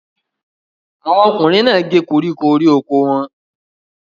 Àwọn ọkùnrin náà gé koríko orí oko wọn.